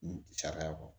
Sariya kɔ